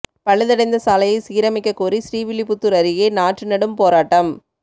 பழுதடைந்த சாலையை சீரமைக்கக் கோரி ஸ்ரீவில்லிபுத்தூர் அருகே நாற்று நடும் போராட்டம்